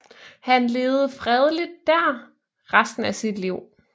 Han levede fredeligt der resten af sit liv